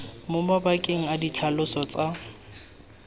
mo mabakeng a ditlhaloso tsa